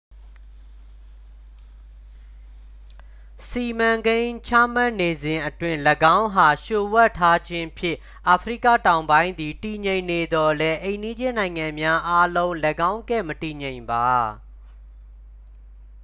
စီမံကိန်းချမှတ်နေစဉ်အတွင်း ၎င်းအား လျို့ဝှက်ထားခြင်းဖြင့် အာဖရိကတောင်ပိုင်းသည် တည်ငြိမ်နေသော်လည်း အိမ်နီးချင်းနိုင်ငံများအားလုံး ၎င်းကဲ့ မတည်ငြိမ်ပါ